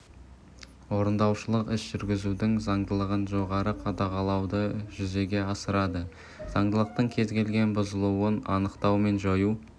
орындаушылық іс жүргізудің заңдылығын жоғары қадағалауды жүзеге асырады заңдылықтың кез келген бұзылуын анықтау мен жою